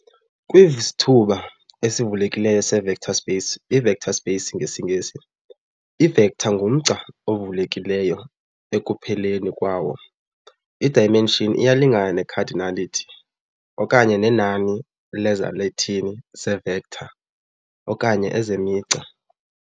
Kwivsithuba esivulekileyo se-vector space, i-vector space ngesiNgesi, i-vector ngumgca ovulekilleyo ekupheleni kwawo, i-dimension iyalingana ne-cardinality okanye nenani lezalathini zee-vector okanye ezemigca.